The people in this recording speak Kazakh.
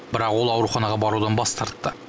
бірақ ол ауруханаға барудан бас тартты